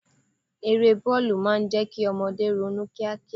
Eré bọ́ọ̀lù máa ń jẹ́ kí ọmọdé ronú kíá kíá.